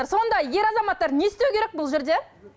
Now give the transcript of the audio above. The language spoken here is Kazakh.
сонда ер азаматтар не істеу керек бұл жерде